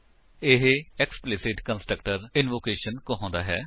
ਇਹ explicit constructor invocation ਕਹਾਉਂਦਾ ਹੈ